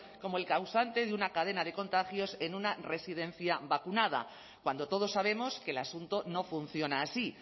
como el causante de una cadena de contagios en una residencia vacunada cuando todos sabemos que el asunto no funciona así